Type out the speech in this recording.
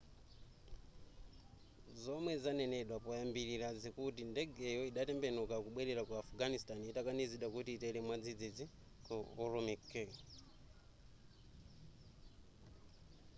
zomwe zanenedwa poyambilira zikuti ndegeyo idatembenuka kubwelera ku afghanistan itakanizidwa kuti itere mwadzidzi ku ürümqi